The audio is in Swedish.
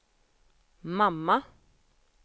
mamma